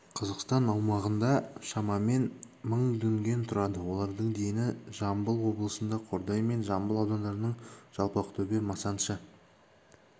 қазақстан аумағында шамамен мың дүнген тұрады олардың дені жамбыл облысында қордай мен жамбыл аудандарының жалпақтөбе масаншы